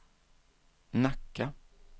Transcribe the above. Nacka